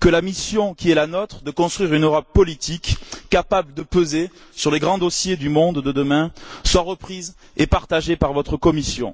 que la mission qui est la nôtre de construire une Europe politique, capable de peser sur les grands dossiers du monde de demain, soit reprise et partagée par votre Commission.